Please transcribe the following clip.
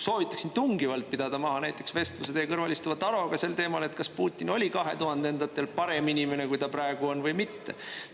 Soovitaksin tungivalt pidada maha näiteks vestluse teie kõrval istuva Taroga sel teemal, et kas Putin oli kahe tuhandendatel parem inimene, kui ta praegu on, või mitte.